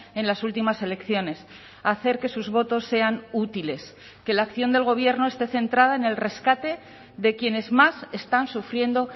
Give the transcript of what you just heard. en las últimas elecciones hacer que sus votos sean útiles que la acción del gobierno esté centrada en el rescate de quienes más están sufriendo